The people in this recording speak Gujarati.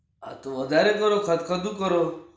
હા તો વધારે કરો ખર્ચ વધુ કરો.